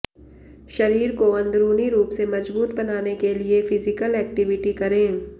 शरीर को अंदरूनी रूप से मजबूत बनाने के लिए फिजिकल एक्टिविटी करें